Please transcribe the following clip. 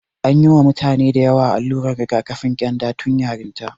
An yi wa mutane dayawa allurar rigakafin ƙyanda tun yarinta.